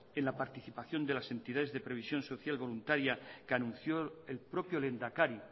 en la participación de las entidades de previsión social voluntaria que anunció el propio lehendakari